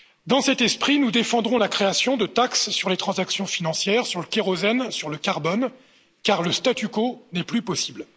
Dans cet esprit, nous défendrons la création de taxes sur les transactions financières, sur le kérosène et sur le carbone, car le statu quo n'est plus possible.